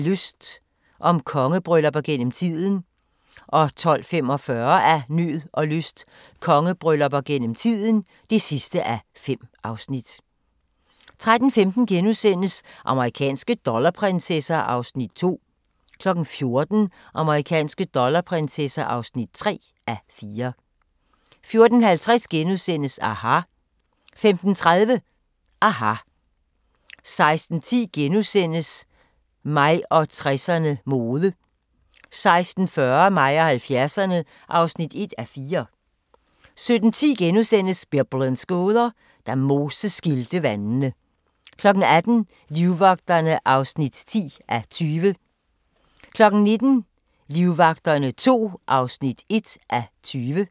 12:45: Af nød og lyst – om kongebryllupper gennem tiden (5:5) 13:15: Amerikanske dollarprinsesser (2:4)* 14:00: Amerikanske dollarprinsesser (3:4) 14:50: aHA! * 15:30: aHA! 16:10: Mig og 60'erne: Mode * 16:40: Mig og 70'erne (1:4) 17:10: Biblens gåder – Da Moses skilte vandene * 18:00: Livvagterne (10:20) 19:00: Livvagterne II (1:20)